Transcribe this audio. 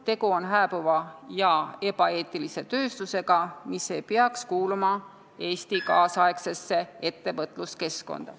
Tegu on hääbuva ja ebaeetilise tööstusega, mis ei peaks kuuluma Eesti nüüdisaegsesse ettevõtluskeskkonda.